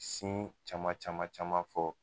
caman caman caman fɔ.